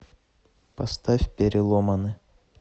поставь переломаны